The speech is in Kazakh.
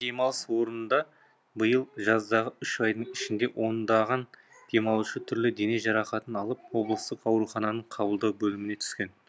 демалыс орнында биыл жаздағы үш айдың ішінде ондаған демалушы түрлі дене жарақатын алып облыстық аурухананың қабылдау бөліміне түскен